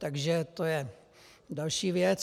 Takže to je další věc.